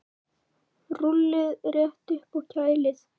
Rúllið þétt upp og kælið.